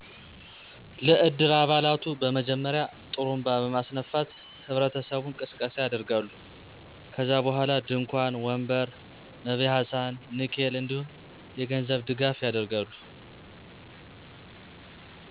ለ እድር አባላቱ በመጀመሪያ ..ጥሩንባ በማስነፋት ህብረተሰቡን ቅስቀሳ ያደርጋሉ .ከዛ በኋላ ድንኳን፣ ወንበር፣ መበያ ሰሀን፣ ንኬል፣ እንዲሁም የገንዘብ ድጋፉ ያደርጋሉ።